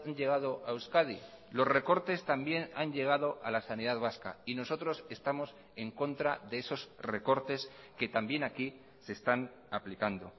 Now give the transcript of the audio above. llegado a euskadi los recortes también han llegado a la sanidad vasca y nosotros estamos en contra de esos recortes que también aquí se están aplicando